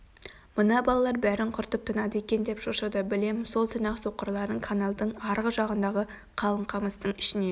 мына балалар бәрін құртып тынады екен деп шошыды білем сол түні-ақ соқырларын каналдың арғы жағындағы қалың қамыстың ішіне